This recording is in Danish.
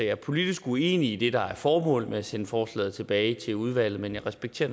er politisk uenig i det der er formålet med at sende forslaget tilbage til udvalget men jeg respekterer